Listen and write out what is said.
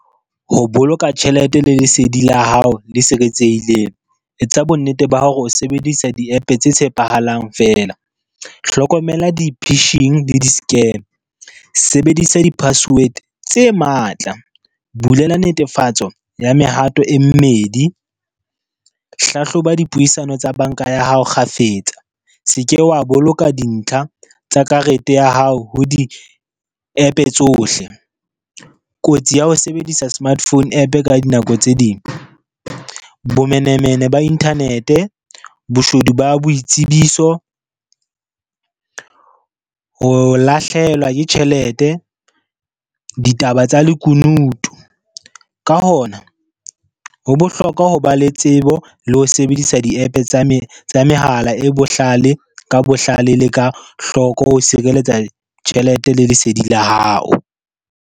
Ho boloka tjhelete le lesedi la hao le siretsehileng, etsa bonnete ba hore o sebedisa di-App tse tshepahalang fela. Hlokomela di-pitching le di-scam, sebedisa di-password tse matla, bulela netefatso ya mehato e mmedi. Hlahloba dipuisano tsa banka ya hao kgafetsa, se ke wa boloka dintlha tsa karete ya hao ho di-App tsohle. Kotsi ya ho sebedisa smart phone App ka dinako tse ding, bomenemene ba internet, boshodu ba boitsebiso, ho lahlehelwa ke tjhelete, ditaba tsa lekunutu, ka hona ho bohlokwa ho ba le tsebo le ho sebedisa di-App tsa mehala e bohlale ka bohlale le ka hloko ho sireletsa tjhelete le lesedi la hao.